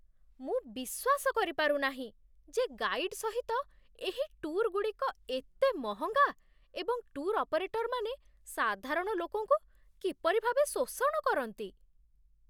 ମୁଁ ବିଶ୍ୱାସ କରିପାରୁ ନାହିଁ ଯେ ଗାଇଡ୍ ସହିତ ଏହି ଟୁର୍‌ଗୁଡ଼ିକ ଏତେ ମହଙ୍ଗା ଏବଂ ଟୁର୍ ଅପରେଟର୍‌ମାନେ ସାଧାରଣ ଲୋକଙ୍କୁ କିପରି ଭାବେ ଶୋଷଣ କରନ୍ତି